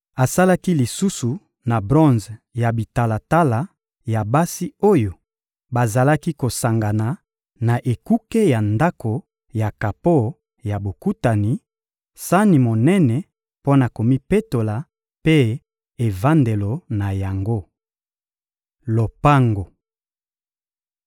Asalaki lisusu na bronze ya bitalatala ya basi oyo bazalaki kosangana na ekuke ya Ndako ya kapo ya Bokutani: sani monene mpo na komipetola mpe evandelo na yango. Lopango